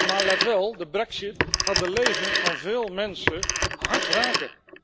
Maar, let wel, de brexit gaat de levens van veel mensen hard raken.